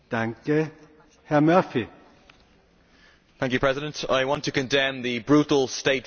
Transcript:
Mr President, I want to condemn the brutal state violence against peaceful protesters in Kiev.